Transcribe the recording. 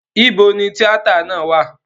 Ibo ni tíátà náà wà?